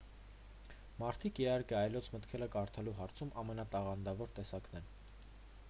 մարդիկ իհարկե այլոց մտքերը կարդալու հարցում ամենատաղանդավոր տեսակն են